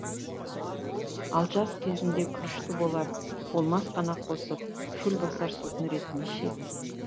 ал жаз кезінде күрішті болар болмас қана қосып шөл басар сусын ретінде ішеді